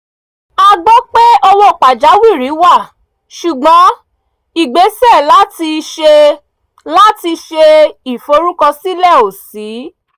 a gbọ́ pé owó pàjáwìrì wà ṣùgbọ́n ìgbésè láti ṣe láti ṣe ìforúkọsílẹ̀ ò ṣí